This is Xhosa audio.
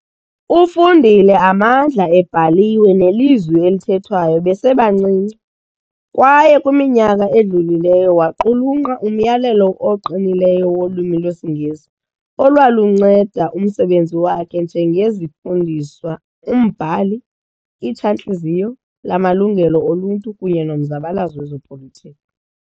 Ufundile amandla ebhaliwe nelizwi elithethwayo besebancinci, kwaye kwiminyaka edlulileyo waqulunqa umyalelo oqinileyo wolwimi lwesiNgesi, olwalunceda umsebenzi wakhe njengezifundiswa, umbhali, Itshantliziyo lamaLungelo oLuntu kunye nomzabalazo wezopolitiko.